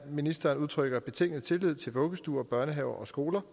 ministeren udtrykker betinget tillid til vuggestuer børnehaver og skoler